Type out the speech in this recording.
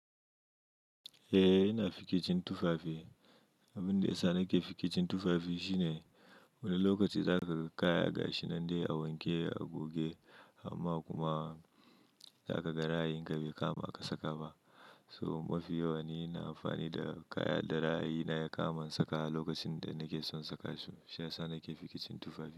Eh, yana fikicin tufafi. Abin da ya sa nake fikicin tufafi shine wani lokaci zaka kai kaya gashi nan dai a wanke a goge amma kuma zaka ga ra'ayin ga yakama aka saka ba. To mafi yawa ni na amfani da kaya da ra'ayi na yakaman saka lokacin da nake son saka su. Shi ya sa nake fikicin tufafi.